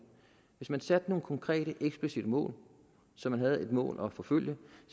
hvis man satte sig nogle konkrete eksplicitte mål så man havde nogle mål at forfølge